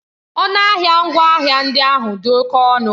Ọnụ ahịa ngwaahịa ndị ahụ dị oke ọnụ.